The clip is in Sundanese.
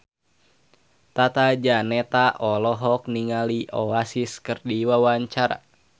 Tata Janeta olohok ningali Oasis keur diwawancara